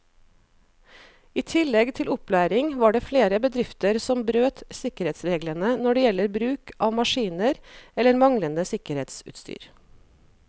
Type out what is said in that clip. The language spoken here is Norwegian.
I tillegg til opplæring var det flere bedrifter som brøt sikkerhetsreglene når det gjelder bruk av maskiner eller manglende sikkerhetsutstyr.